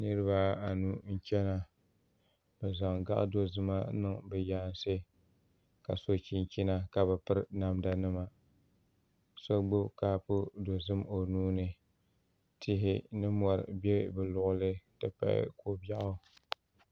niribaanu n chɛna bɛ zaŋ dozim n niŋ be yansi ka so chɛnchɛna ka be pɛri namda nima ka so gbabi kapu dozim o nuuni tihi ni mori bɛ be luɣili ka ko bɛɣ